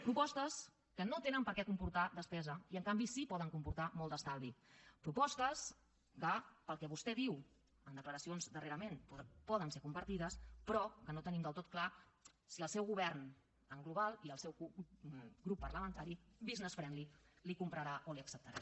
propostes que no tenen per què comportar despesa i en canvi sí que poden comportar molt d’estalvi propostes que pel que vostè diu en declaracions darrerament poden ser compartides però que no tenim del tot clar si el seu govern en global i el seu grup parlamentari business friendly li compraran o li acceptaran